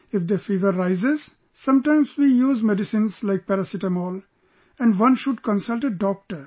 If the fever rises, sometimes we use medicines like paracetamol...and one should consult a Doctor